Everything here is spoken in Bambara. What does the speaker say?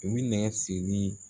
U bɛ nɛgɛ siri